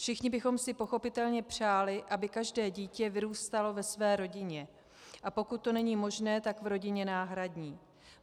Všichni bychom si pochopitelně přáli, aby každé dítě vyrůstalo ve své rodině, a pokud to není možné, tak v rodině náhradní.